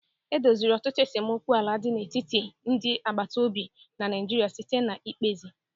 E doziri ọtụtụ esemokwu ala dị n'etiti ndị agbata obi na Naịjirịa site na mkpezi.